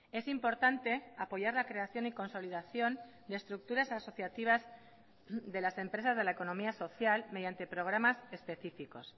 es importante apoyar la creación y consolidación de estructuras asociativas de las empresas de la economía social mediante programas específicos